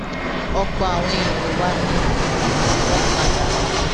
ọpọ àwọn èèyàn wa ni um wọn pa danú